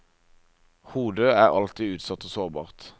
Hodet er alltid utsatt og sårbart.